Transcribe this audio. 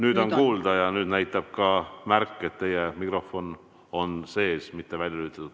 Nüüd on kuulda ja nüüd näitab ka märk, et teie mikrofon on sees, mitte välja lülitatud.